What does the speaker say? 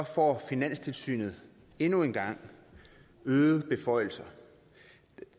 får finanstilsynet endnu en gang øgede beføjelser